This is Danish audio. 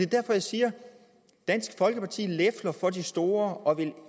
derfor jeg siger at dansk folkeparti lefler for de store og